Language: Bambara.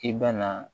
I bɛna